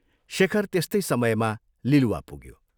शेखर त्यस्तै समयमा लिलुवा पुग्यो।